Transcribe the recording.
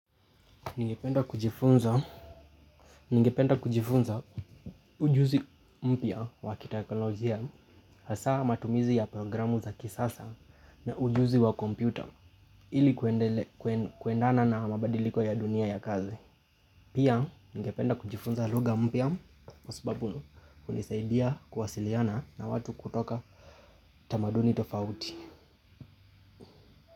Ningependa kujifunza ujuzi mpya wa kiteknolojia, hasa matumizi ya programu za kisasa na ujuzi wa kompyuta ili kuendana na mabadiliko ya dunia ya kazi. Pia, ningependa kujifunza lugha mpya, kwa sababu hunisaidia kuwasiliana na watu kutoka tamaduni tofauti.